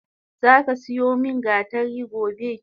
Zaka siyo min gatari gobe!